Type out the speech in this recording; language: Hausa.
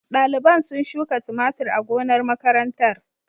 Daliban sun shuka tumatur a gonar makarantar.